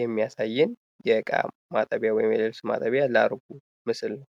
የሚያሳየን የእቃ ማጠቢያ ወይም የልብስ ማጠቢያ ላርጎ ምስል ነው።